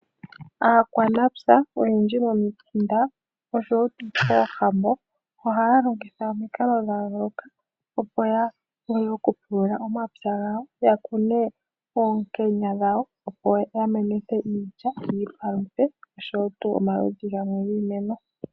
Aakwamapya oyendji momi kunda nosho wo koohambon, ohaya longitha omikalo dha yoolokathana opo ya vule oku pulula oma pya gawo ya kune oonkenya dhawo, opo ya menithe iidja yi ipaluthe nosho wo tuu omaludhi gamwe gii meno.